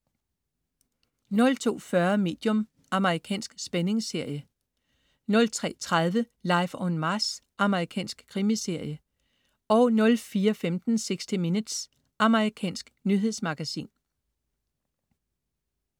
02.40 Medium. Amerikansk spændingsserie 03.30 Life on Mars. Amerikansk krimiserie 04.15 60 Minutes. Amerikansk nyhedsmagasin